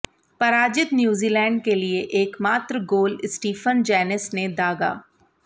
पराजित न्यूजीलैंड के लिए एकमात्र गोल स्टीफन जेनेस ने दागा